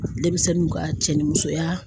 Denmisɛnninw ka cɛ ni musoya